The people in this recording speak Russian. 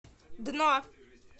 дно